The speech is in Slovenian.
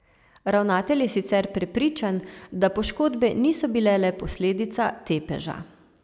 Ravnatelj je sicer prepričan, da poškodbe niso bile le posledica tepeža.